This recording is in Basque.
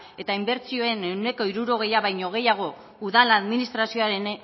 eta inbertsioen ehuneko hirurogeia baino gehiago udal administrazioaren